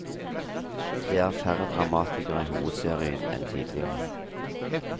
Det er færre dramatikere i hovedserien enn tidligere.